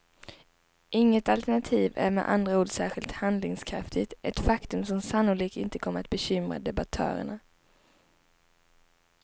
Inget alternativ är med andra ord särskilt handlingskraftigt, ett faktum som sannolikt inte kommer bekymra debattörerna.